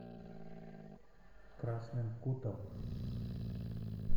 красным кутом